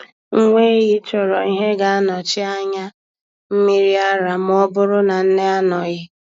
Nwa ehi chọrọ ihe ga-anọchi anya mmiri ara ma ọ bụrụ na nne anọghị.